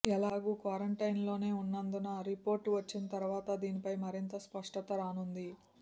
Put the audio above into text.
ఎలాగూ క్వారంటైన్లోనే ఉన్నందున రిపోర్టు వచ్చిన తర్వాత దీనిపై మరింత స్పష్టత రానుంది